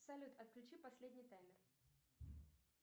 салют отключи последний таймер